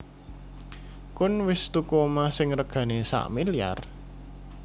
Koen wes tuku omah sing regane sakmiliar?